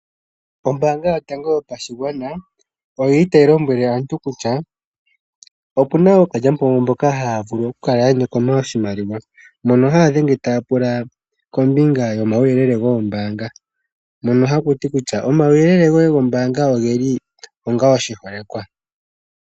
Ombaanga yotango yopashigwana otayi lombwele aantu kutya opuna ookalyampombo haya vulu oku kala ya nyokoma oshimaliwa mbono haya dhenge taya pula kombinga yomauyelele goombaanga . Ohakuti kutya omauyelele goye gombaanga ogeli onga oshiholekwa